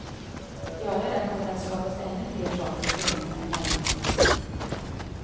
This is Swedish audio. Gör jag det kommer det att skapas ännu fler saker i tidningarna i morgon.